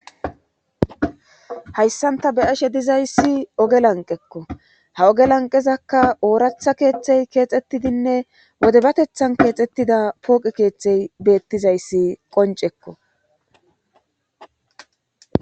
hayssanta beyashe dizayssi oge lanqekko ha oge lanqezakka ooratha keeththey keexettidinne wodebatethan keexettida pooqe keeththey beettizayssi qoncekko